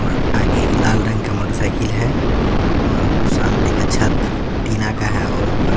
और आगे एक लाल रंग का मोटर साइकिल है और सामने का छत टीना का है और ऊपर --